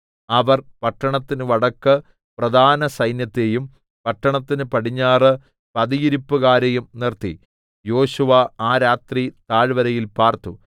അവർ പട്ടണത്തിന് വടക്ക് പ്രധാന സൈന്യത്തെയും പട്ടണത്തിന് പടിഞ്ഞാറ് പതിയിരിപ്പുകാരെയും നിർത്തി യോശുവ ആ രാത്രി താഴ്‌വരയിൽ പാർത്തു